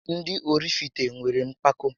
Ndị Ọrifite nwéré mpako